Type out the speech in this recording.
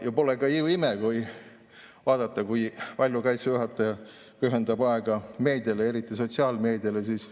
Ja pole ka ime, kui vaadata, kui palju aega pühendab Kaitseväe juhataja meediale, eriti sotsiaalmeediale.